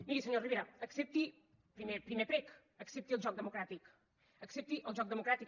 miri senyor rivera accepti primer prec el joc democràtic accepti el joc democràtic